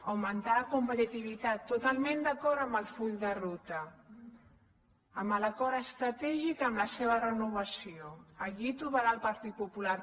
augmentar la competitivitat totalment d’acord amb el full de ruta amb l’acord estratègic amb la seva renovació aquí trobarà el partit popular